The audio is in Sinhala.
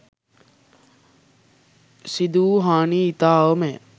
සිදුවූ හානිය ඉතා අවමය.